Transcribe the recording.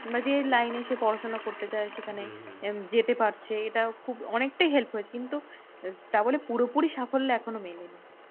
মানে যে line এ সে পড়াশোনা করতে চায় সেখানে যেতে পারছে, এটা খুব অনেকটাই help হয়েছে। কিন্তু তাবলে পুরোপুরি সাফল্য এখনো মেলেনি।